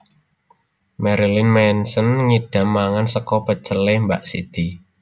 Marilyn Manson ngidam mangan sego pecel e Mbak Siti